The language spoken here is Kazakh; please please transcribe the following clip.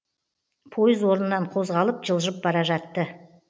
пойыз орнынан қозғалып жылжып бара жатты